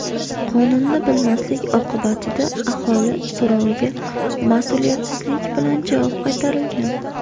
Qonunni bilmaslik oqibatida aholi so‘roviga mas’uliyatsizlik bilan javob qaytarilgan.